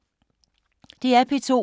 DR P2